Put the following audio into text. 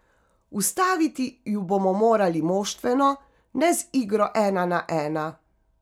Ustaviti ju bomo morali moštveno, ne z igro ena na ena.